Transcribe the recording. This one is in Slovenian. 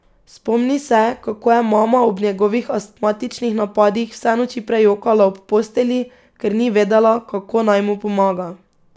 Spomni se, kako je mama ob njegovih astmatičnih napadih vse noči prejokala ob postelji, ker ni vedela, kako naj mu pomaga.